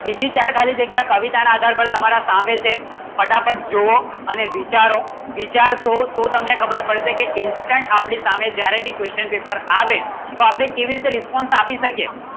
બીજી ચાર ખાલી જગ્યાએ કવિતા ના આધાર પર તમારા સામે છે ફટાફટ જોવો અને વિચારો વિચારશો તો તમને ખબર પડશે કે Instant આપડી સામે જ્યારે ભી Question Paper આવે તો આપણે કેવી તરહ Response આપી શકે